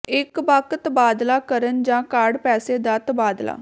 ਇੱਕ ਬਕ ਤਬਾਦਲਾ ਕਰਨ ਜ ਕਾਰਡ ਪੈਸੇ ਦਾ ਤਬਾਦਲਾ